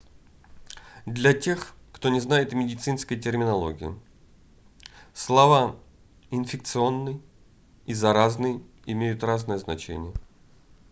для тех кто не знает медицинской терминологии слова инфекционный и заразный имеют разное значение